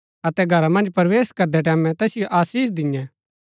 अतै घरा मन्ज प्रवेश करदै टैमैं तैसिओ आशीष दिन्यै